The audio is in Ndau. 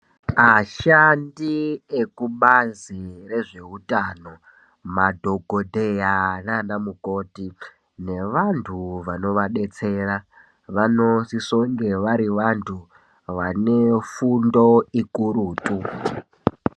Ashandi ekubazi rezveuntano madhokodheya nanamukoti nevanhu vanoadetsera vanosisa kunge vari vantu vanefundo ikurutu.